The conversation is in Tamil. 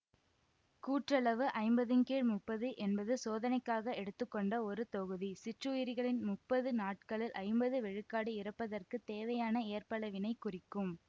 கூற்றளவு ஐம்பதின் கீழ் முப்பது என்பது சோதனைக்காக எடுத்து கொண்ட ஒரு தொகுதி சிற்றுயிரிகளில் முப்பது நாட்களில் ஐம்பது விழுக்காடு இறப்பதற்குத் தேவையான ஏற்பளவினை குறிக்கும்